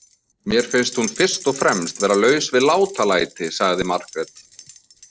Mér finnst hún fyrst og fremst vera laus við látalæti, sagði Margrét.